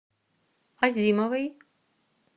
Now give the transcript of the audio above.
азимовой